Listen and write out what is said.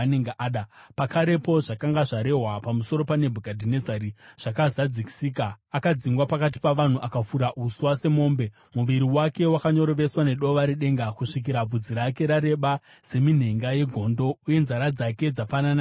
Pakarepo, zvakanga zvarehwa pamusoro paNebhukadhinezari zvakazadzisika. Akadzingwa pakati pavanhu akafura uswa semombe. Muviri wake wakanyoroveswa nedova redenga kusvikira bvudzi rake rareba seminhenga yegondo uye nzara dzake dzafanana nedzeshiri.